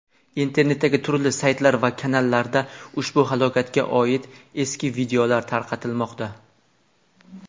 Internetdagi turli saytlar va kanallarda ushbu falokatga oid eski videolar tarqatilmoqda.